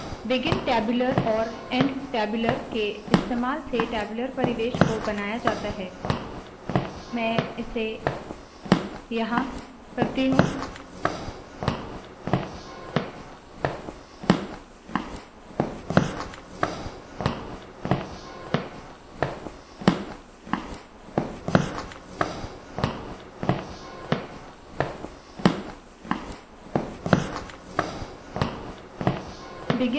begin tabular और end tabular के इस्तेमाल से टैब्यूलर परिवेश को बनाया जाता है मैं इसे यहाँ करती हूँ